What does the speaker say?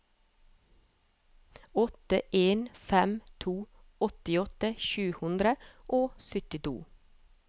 åtte en fem to åttiåtte sju hundre og syttito